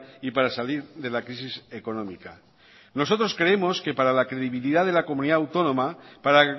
y para salir de la crisis económica nosotros creemos que para la credibilidad de la comunidad autónoma para